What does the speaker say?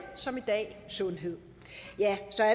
som i dag sundhed